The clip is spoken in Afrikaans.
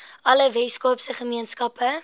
alle weskaapse gemeenskappe